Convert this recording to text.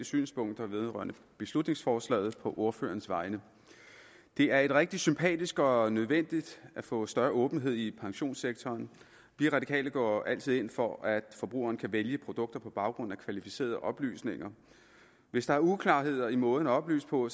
synspunkter vedrørende beslutningsforslaget på ordførerens vegne det er rigtig sympatisk og nødvendigt at få større åbenhed i pensionssektoren vi radikale går altid ind for at forbrugeren kan vælge produkter på baggrund af kvalificerede oplysninger hvis der er uklarheder i måden at oplyse på